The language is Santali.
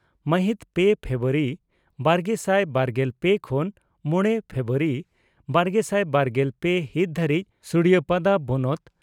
ᱢᱟᱦᱤᱛ ᱯᱮ ᱯᱷᱮᱵᱨᱩᱣᱟᱨᱤ ᱵᱟᱨᱜᱮᱥᱟᱭ ᱵᱟᱨᱜᱮᱞ ᱯᱮ ᱠᱷᱚᱱ ᱢᱚᱲᱮ ᱯᱷᱮᱵᱨᱩᱣᱟᱨᱤ ᱵᱟᱨᱜᱮᱥᱟᱭ ᱵᱟᱨᱜᱮᱞ ᱯᱮ ᱦᱤᱛ ᱫᱷᱟᱹᱨᱤᱡ ᱥᱩᱲᱤᱭᱟᱯᱟᱫᱟ ᱵᱚᱱᱚᱛ